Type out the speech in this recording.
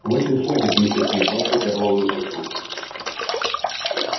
хватит хватит миссис мид ласково прервал её супруг